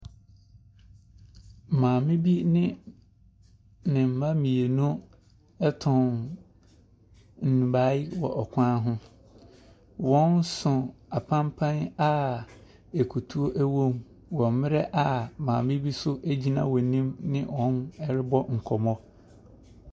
Maame bi ne ne mma mmienu retɔn nnubaeɛ wɔ kwan ho. Wɔso apampan a akutuo wɔ mu wɔ mmerɛ a maame bi nso gyina wɔn anim ne wɔrebɔ nkɔmmɔ.